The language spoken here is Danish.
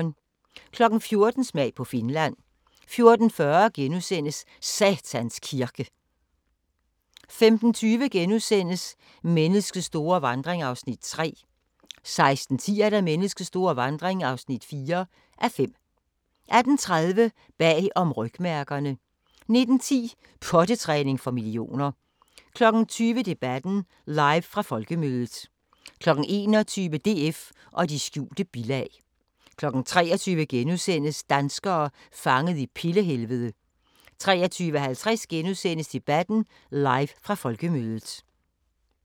14:00: Smag på Finland 14:40: Satans Kirke * 15:20: Menneskets store vandring (3:5)* 16:10: Menneskets store vandring (4:5) 18:30: Bag om rygmærkerne 19:10: Pottetræning for millioner 20:00: Debatten – Live fra Folkemødet 21:00: DF og de skjulte bilag 23:00: Danskere fanget i pille-helvede * 23:50: Debatten – Live fra Folkemødet *